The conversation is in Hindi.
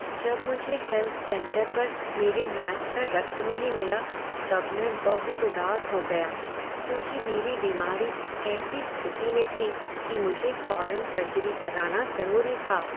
जब मुझे हेल्थ सेंटर पर मेरे मैच का रक्त नहीं मिला तब मैं बहुत उदास हो गया, क्योंकि मेरी बीमारी ऐसी स्थिति में थी कि मुझे फौरन सर्जरी कराना जरूरी था।